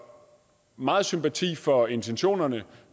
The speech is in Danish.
meget sympati for intentionerne